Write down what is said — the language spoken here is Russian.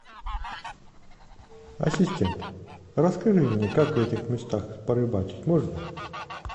ассистент расскажи мне как в этих местах порыбачить можно